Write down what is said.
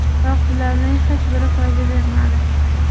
Biroq bularning hech biri foyda bermadi.